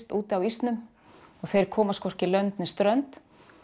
úti á ísnum og þeir komast hvorki lönd né strönd